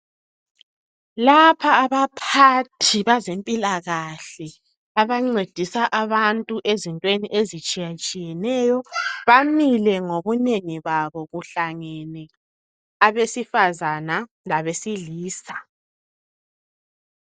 Lapha abaphathi bazempilakahle , abancedisa abantu ezintweni ezitshiyatshiyeneyo. Bamile ngobunengi babo. Kuhlangene, abesifazana labesilisa.